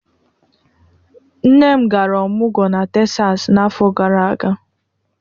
Nne m gara ọmọgwọ na Tesas n'afọ gara aga.